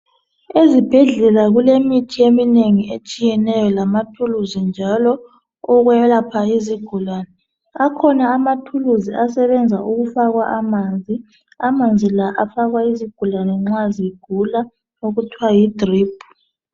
Ezibhedlela kulemithi etshiyeneyo lamathuluzi njalo okwelapha izigulane akhona amathuluzi asebenza ukufakwa amanzi amanzi la afakwa izigulane nxa zigula okuthiwa yi drip.